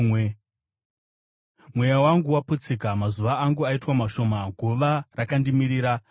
Mweya wangu waputsika, mazuva angu aitwa mashoma, guva rakandimirira.